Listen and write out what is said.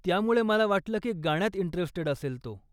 त्यामुळे मला वाटलं की गाण्यात इंटरेस्टेड असेल तो.